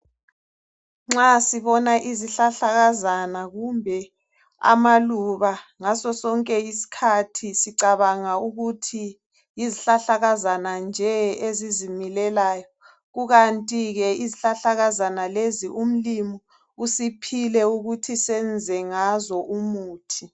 Nxa sibona izihlahla kazana kumbe amaluba .Ngaso sonke isikhathi sicabanga ukuthi yizihlahlakazana nje ezizimilelayo .Kukantike izihlahlakazana lezi umlimu usiphile ukuthi senze ngazo umuthi.